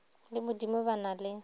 le modimo ba na le